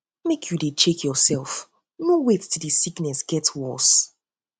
make you dey check yoursef no wait till di sickness get worse